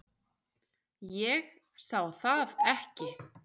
Ég sá það ekki.